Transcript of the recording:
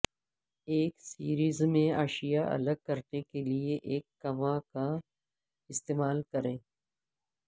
ایک سیریز میں اشیا الگ کرنے کے لئے ایک کما کا استعمال کریں